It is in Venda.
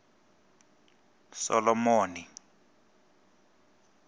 solomoni